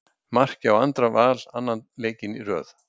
Mark hjá Andra Val annan leikinn í röð.